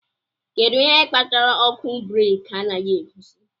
Kedu ihe kpatara ọkụ breeki anaghị egosi?